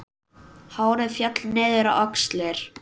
Hárið féll niður á axlir.